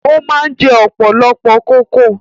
O máa ń jẹ ọ̀pọ̀lọpọ̀ kókò